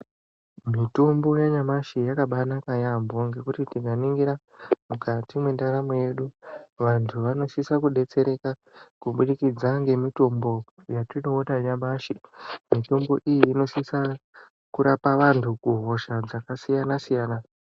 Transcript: Mutombo yanyamashi yakabanaka yampho ngokuti tikaningira mukati mwendaramo yedu vantu vanosisa kudetsereka kubudikidza ngemutombo yatinoona nyamashi mitombo iyi inosisa kurapa vantu kuhosha dzakasiyana siyana.